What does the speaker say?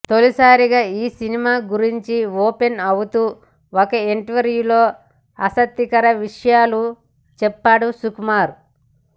తొలిసారిగా ఈ సినిమా గురించి ఓపెన్ అవుతూ ఒక ఇంటర్వ్యూలో ఆసక్తికర విషయాలు చెప్పాడు సుకుమార్